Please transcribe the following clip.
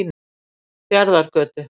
Fjarðargötu